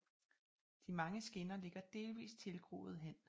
De mange skinner ligger delvist tilgroede hen